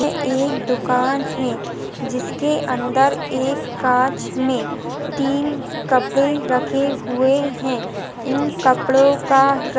ये एक दुकान है जिसके अंदर एक काँच मे तीन कपड़े रखे हुए है इन कपड़ो का--